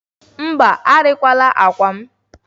Mba, arịla akwa m.